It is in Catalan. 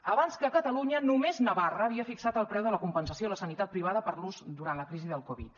abans que a catalunya només navarra havia fixat el preu de la compensació a la sanitat privada per l’ús durant la crisi del covid